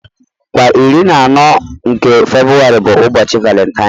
Kwa iri na anọ nke Febuwari bụ ụbọchị valentine.